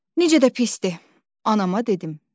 Necə də pisdir, anama dedim.